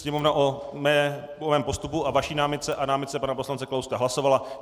Sněmovna o mém postupu a vaší námitce a námitce pana poslance Kalouska, hlasovala.